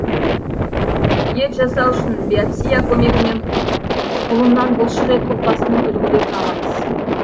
ет жасау үшін биопсия көмегімен құлыннан бұлшық ет ұлпасының үлгілерін аламыз